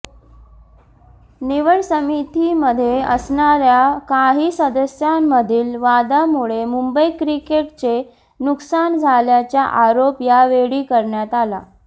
निवड समितीमध्ये असणाऱ्या काही सदस्यांमधील वादामुळे मुंबई क्रिकेटचे नुकसान झाल्याचा आरोप यावेळी करण्यात आला